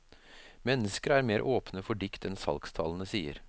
Mennesker er mer åpne for dikt enn salgstallene sier.